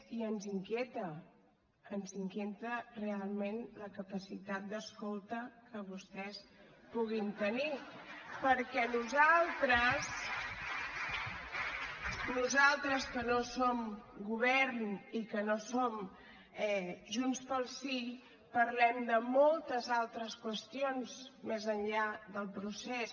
i ens inquieta ens inquieta realment la capacitat d’escolta que vostès puguin tenir perquè nosaltres nosaltres que no som govern i que no som junts pel sí parlem de moltes altres qüestions més enllà del procés